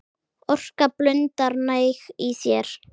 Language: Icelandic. Orka blundar næg í þér.